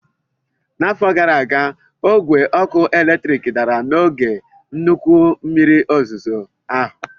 N'afọ gara aga, ogwe ọkụ eletrik dara n'oge nnukwu mmiri ozuzo ahụ